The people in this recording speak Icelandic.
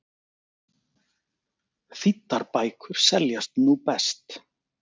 Þýddar bækur seljast nú best